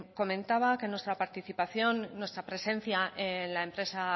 comentaba que nuestra participación nuestra presencia en la empresa